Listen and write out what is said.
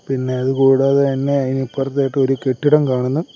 പിന്നെ അത് കൂടാതെ തന്നെ അയിന് ഇപ്പർത്തായിട്ട് ഒരു കെട്ടിടം കാണുന്നു.